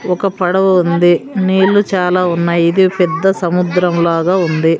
ఒక పడవ ఉంది నీళ్లు చాలా ఉన్నాయి ఇది పెద్ద సముద్రం లాగా ఉంది.